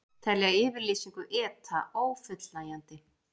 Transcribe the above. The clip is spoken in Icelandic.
Telja yfirlýsingu ETA ófullnægjandi